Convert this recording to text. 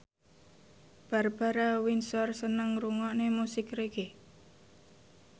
Barbara Windsor seneng ngrungokne musik reggae